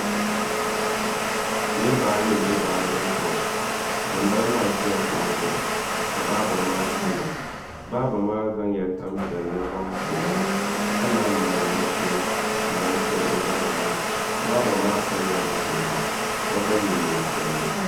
Niraba ayi n bɛ baabirin shop ŋunbala maa ʒila kuɣu zuɣu ka baaba maa chɛro baaba maa zaŋla tani piɛlli zaŋ pobo ka naan mali mashin n mali chɛri o zabiri maa baaba maa pilila zipiligu ka gba yɛ neen piɛlli